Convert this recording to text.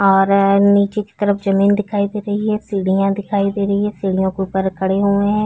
और नीचे की तरफ जमीन दिखाई दे रही है सीढ़ियां दिखाई दे रही है सीढ़ियों के उपर खड़े हुए है।